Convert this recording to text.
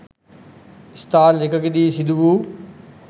ස්ථාන දෙකකදී සිදු වූ